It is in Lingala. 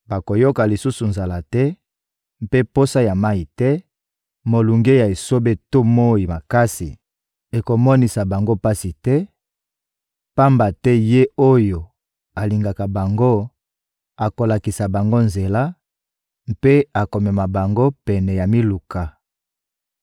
Bakoyoka lisusu nzala te mpe posa ya mayi te; molunge ya esobe to moyi makasi ekomonisa bango pasi te, pamba te Ye oyo alingaka bango akolakisa bango nzela mpe akomema bango pene ya miluka.